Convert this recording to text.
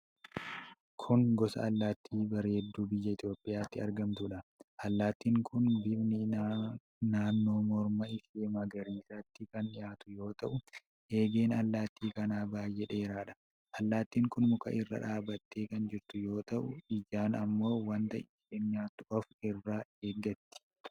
Kun gosa allaattii bareedduu biyya Itoophiyaatti argamtuudha. Allaattiin kun bifni naannoo morma ishee magariisatti kan dhiyaatu yoo ta'u, eegeen allaattii kanaa baay'ee dheeraadha. Allaattin kun muka irra dhaabattee kan jirtu yoo ta'u, ijaan ammoo wanta ishee nyaatu of irraa eeggatti.